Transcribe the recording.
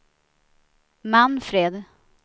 Manfred